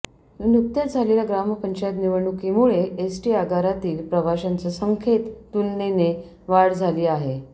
नुकत्याच झालेल्या ग्रामपंचायत निवडणुकीमुळे एसटी आगारातील प्रवाशांच्या संख्येत तुलनेने वाढ झाली आहे